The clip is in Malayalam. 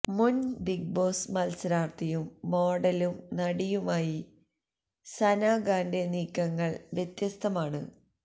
മുന് ബിഗ് ബോസ് മത്സരാര്ത്ഥിയും മോഡലും നടിയുമായി സന ഖാന്റെ നീക്കങ്ങള് വ്യത്യസ്തമാണ്